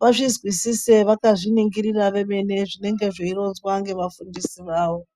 vazvizwisise vakazviningirira vemene zvinenge zveironzwa ngevafundisi vavo.